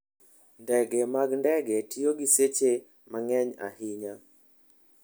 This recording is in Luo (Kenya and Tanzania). Ndege mag ndege tiyo gi seche mang'eny ahinya.